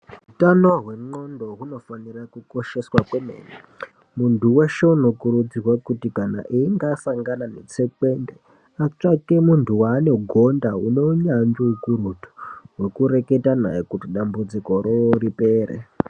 Hutano hwengonxo hunofana kukosheswa kwemene muntu weshe anokurudzirwa kuti kana asangana netsekwende atsvake muntu wanogonda une hunyanzvi ukurutu wekureketa naye kuti dambudziko Riya ripere.